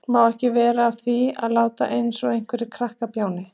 Má ekki vera að því að láta eins og einhver krakkakjáni.